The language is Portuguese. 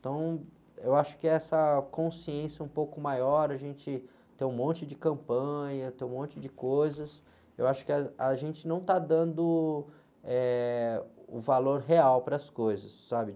Então, eu acho que essa consciência um pouco maior, a gente tem um monte de campanha, tem um monte de coisas, eu acho que a, a gente não está dando, eh, o valor real para as coisas, sabe?